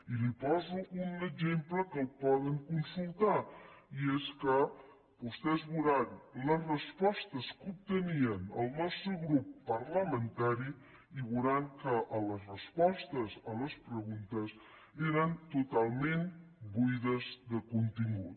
i li poso un exemple que el poden consultar i és que vostès veuran les respostes que obtenia el nostre grup parlamentari i veuran que les respostes a les preguntes eren totalment buides de contingut